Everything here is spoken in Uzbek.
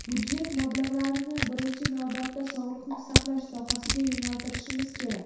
Budjet mablag‘larini birinchi navbatda sog‘liqni saqlash sohasiga yo‘naltirishimiz kerak.